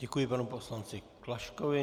Děkuji panu poslanci Klaškovi.